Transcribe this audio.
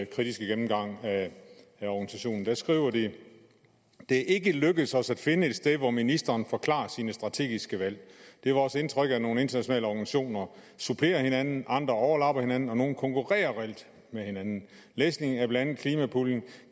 kritiske gennemgang af organisationen de skriver det er ikke lykkedes os at finde et sted hvor ministeren forklarer sine strategiske valg det er vores indtryk at nogle internationale organisationer supplerer hinanden andre overlapper hinanden og nogle konkurrerer reelt med hinanden læsning af blandt andet klimapuljen